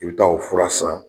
I bi taa o fura san